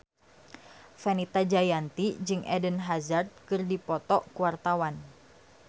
Fenita Jayanti jeung Eden Hazard keur dipoto ku wartawan